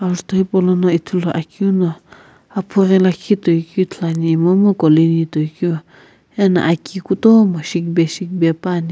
ajutho hipaulono Ithuluakeu no aphughi lakhi toikeu ithuluani monu colony toikeu ena aki kutomo shikbe shikbe puani.